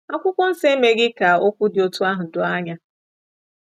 Akwụkwọ Nsọ emeghị ka okwu dị otú ahụ doo anya.